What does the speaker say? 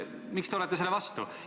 Miks te olete selle vastu?